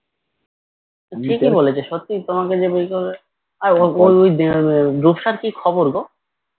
ঠিকই বলেছে সত্যিই তোমাকে যে বিয়ে করবে আর ঐ রূপসার কি খবর গো